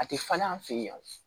A tɛ falen an fɛ yen